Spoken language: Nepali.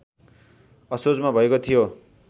असोजमा भएको थियो